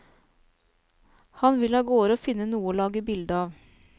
Han vil avgårde og finne noe å lage bilde av.